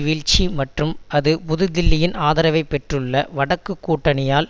வீழ்ச்சி மற்றும் அது புதுதில்லியின் ஆதரவைப்பெற்றுள்ள வடக்குக் கூட்டணியால்